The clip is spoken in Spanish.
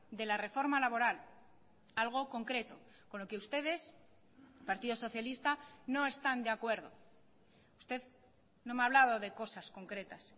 de la reforma laboral algo concreto con lo que ustedes partido socialista no están de acuerdo usted no me ha hablado de cosas concretas